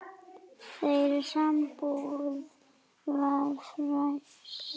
Þeirra sambúð var farsæl.